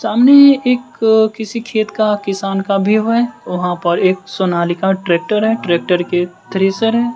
सामने एक किसी खेत का किसान का व्यू है वहां पर एक सोनालिका ट्रैक्टर है ट्रैक्टर के थ्रेसर हैं।